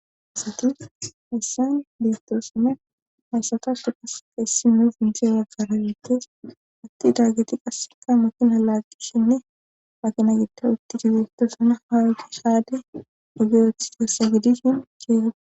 esatis heyssayn beestoosame hayssatafi qasea issi nuu inje waggarabeettes atti daageti qasseka mukina laaqqishinne makina gida utti digetto suna hawugi haade ogeyoth teessa gidishin ceegad